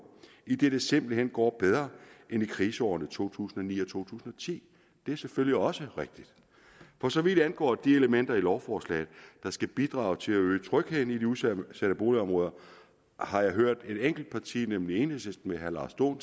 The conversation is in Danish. idet det simpelt hen går bedre end i kriseårene to tusind og ni og to tusind og ti det er selvfølgelig også rigtigt for så vidt angår de elementer i lovforslaget der skal bidrage til at øge trygheden i de udsatte boligområder har jeg hørt et enkelt parti nemlig enhedslisten med herre lars dohn